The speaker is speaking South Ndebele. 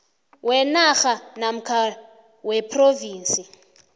wenarha namkha wephrovinsi